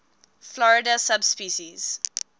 florida subspecies